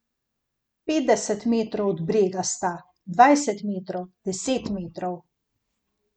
Petdeset metrov od brega sta, dvajset metrov, deset metrov.